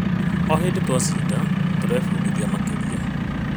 O hĩndĩ twacinda, tũrebundithia makĩria,